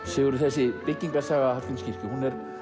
Sigurður þessi byggingarsaga Hallgrímskirkju er